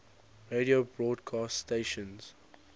radio broadcast stations